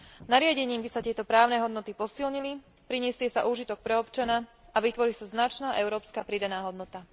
Nariadením by sa tieto právne hodnoty posilnili, prinesie sa úžitok pre občana a vytvorí sa značná európska pridaná hodnota.